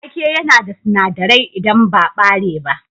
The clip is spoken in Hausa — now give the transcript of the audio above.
Wake yana da sinadirai idan ba ɓare ba.